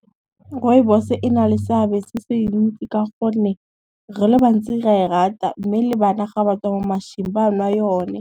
Rooibos e na le seabe se se ntsi ka gonne, re le bantsi ra e rata mme le bana ga ba tswa mo mašwing ba nwa yone.